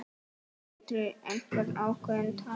Sindri: Einhver ákveðin tala?